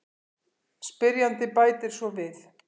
Spyrjandi bætir svo við: